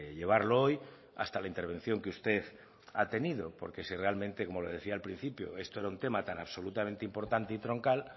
llevarlo hoy hasta la intervención que usted ha tenido porque si realmente como le decía al principio esto era un tema tan absolutamente importante y troncal